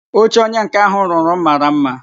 Oche onye nká ahụ rụrụ m mara mma